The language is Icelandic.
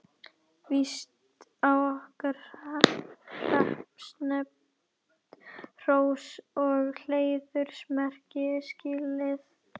Víst á okkar hreppsnefnd hrós og heiðursmerki skilið.